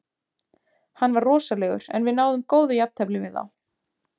Hann var rosalegur en við náðum góðu jafntefli við þá.